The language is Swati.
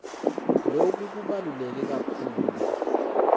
loku kubaluleke kakhulu